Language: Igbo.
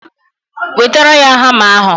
Wetara ya hama ahụ!